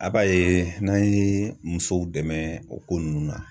A b'a ye n'an ye musow dɛmɛ o ko ninnu na